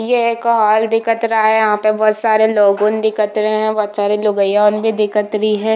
ये एक हॉल दिखत रहा है यहाँ पर बहोत सारे लोगोन दिखत रहै है बहोत सारे लोगियन भी दिखत रही है।